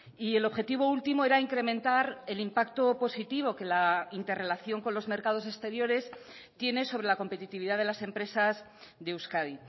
y el objetivo último era incrementar el impacto positivo que la interrelación con los mercados exteriores tiene sobre la competitividad de las empresas de euskadi